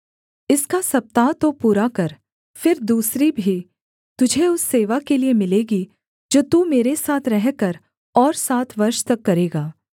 इसका सप्ताह तो पूरा कर फिर दूसरी भी तुझे उस सेवा के लिये मिलेगी जो तू मेरे साथ रहकर और सात वर्ष तक करेगा